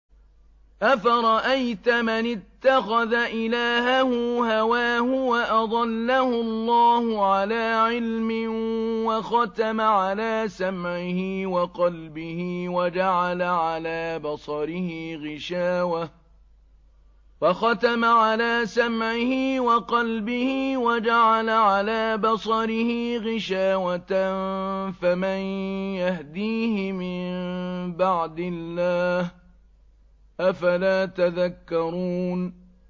أَفَرَأَيْتَ مَنِ اتَّخَذَ إِلَٰهَهُ هَوَاهُ وَأَضَلَّهُ اللَّهُ عَلَىٰ عِلْمٍ وَخَتَمَ عَلَىٰ سَمْعِهِ وَقَلْبِهِ وَجَعَلَ عَلَىٰ بَصَرِهِ غِشَاوَةً فَمَن يَهْدِيهِ مِن بَعْدِ اللَّهِ ۚ أَفَلَا تَذَكَّرُونَ